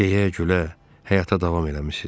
Deyə-gülə həyata davam eləmisiz?